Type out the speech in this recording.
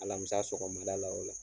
Alamisa sɔgɔmada la o la